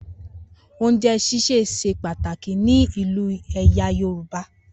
Ounjẹ ṣíṣe ṣe pàtàkì ni inú ẹyà yorùbá.